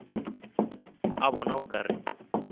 a bona o ka re